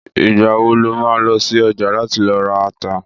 Ìgbà wo lo má lọ sí ọjà láti lọ ra ata?